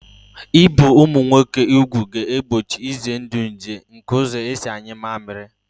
Ibi ụmụ nwoke ugwu ga-egbochi ize ndụ nje nke ụzọ esi anyụ mammiri